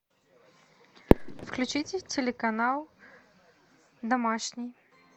включите телеканал домашний